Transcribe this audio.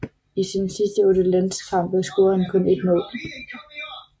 I sine sidste otte landskampe scorede han kun ét mål